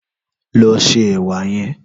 Lò sé èwà yèn